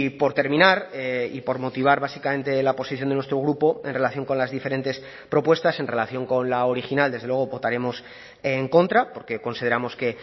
por terminar y por motivar básicamente la posición de nuestro grupo en relación con las diferentes propuestas en relación con la original desde luego votaremos en contra porque consideramos que